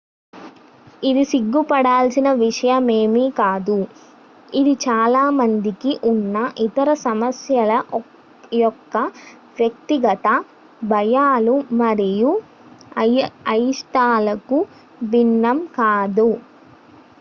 ఇది సిగ్గుపడాల్సిన విషయమేమి కాదు ఇది చాలా మందికి ఉన్న ఇతర సమస్యల యొక్క వ్యక్తిగత భయాలు మరియు అయిష్టాలకు భిన్నం కాదు